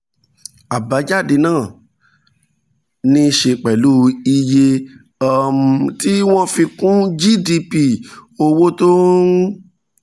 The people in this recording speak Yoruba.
àbájáde pàtó náà ní í ṣe pẹ̀lú iye um tí wọ́n fi um kún gdp owó tó ń